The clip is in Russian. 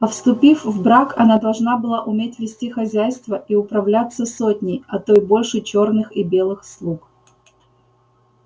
а вступив в брак она должна была уметь вести хозяйство и управляться сотней а то и больше чёрных и белых слуг